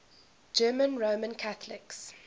german roman catholics